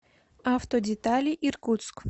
автодетали иркутск